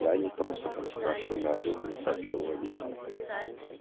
я не просто так спрашиваю неожиданно сообщил водитель